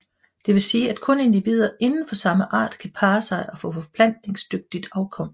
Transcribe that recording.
Det vil sige at kun individer inden for samme art kan parre sig og få forplantningsdygtigt afkom